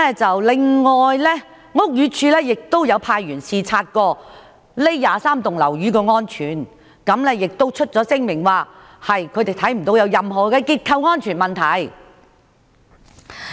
此外，屋宇署也有派員視察該23幢樓宇的安全程度，並發出聲明表示看不到有任何結構安全問題。